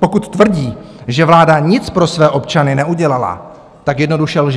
pokud tvrdí, že vláda nic pro své občany neudělala, tak jednoduše lže.